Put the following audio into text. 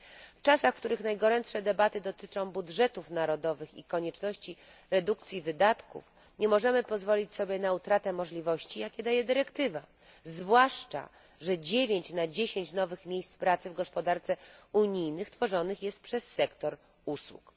W czasach, w których najgorętsze debaty dotyczą budżetów narodowych i konieczności redukcji wydatków nie możemy pozwolić sobie na utratę możliwości, jakie daje dyrektywa, zwłaszcza, że 9 na 10 nowych miejsc pracy w gospodarce unijnej tworzonych jest przez sektor usług.